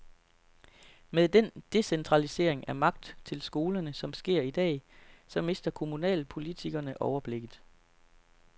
Med den decentralisering af magt til skolerne, som sker i dag, så mister kommunalpolitikerne overblikket.